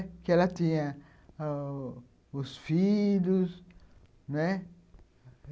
Porque ela tinha oh...os filhos, né?